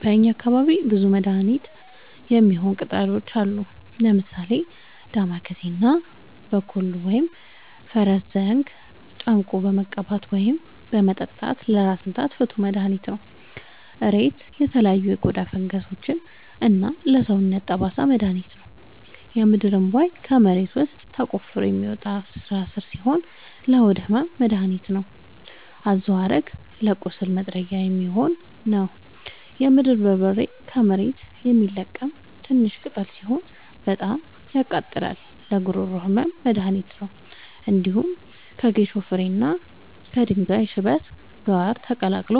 በእኛ አካባቢ ብዙ ለመድሀነት የሚሆኑ ቅጠላ ቅጠሎች አሉ። ምሳሌ፦ ዳማከሴ እና ቦኮሉ(ፈረስዘንግ) ጨምቆ በመቀባት ወይም በመጠጣት ለራስ ምታት ፍቱን መድሀኒት ነው። እሬት ለተለያዩ የቆዳ ፈንገሶች እና ለሰውነት ጠባሳ መድሀኒት ነው። የምድርእንቧይ ከመሬት ውስጥ ተቆፍሮ የሚወጣ ስራስር ሲሆን ለሆድ ህመም መደሀኒት ነው። አዞሀረግ ለቁስል ማጥጊያ የሚሆን ነው። የምድር በርበሬ ከመሬት የሚለቀም ትንሽሽ ቅጠል ሲሆን በጣም ያቃጥላል ለጉሮሮ ህመም መድሀኒት ነው። እንዲሁም ከጌሾ ፍሬ እና ከድንጋይ ሽበት ጋር ተቀላቅሎ